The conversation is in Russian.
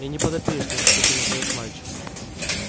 я не подопечный ответил наконец мальчик